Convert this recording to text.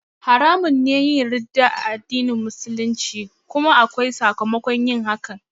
Haramun ne yin ridda a addinin Musulunci kuma akwai sakamakon yin hakan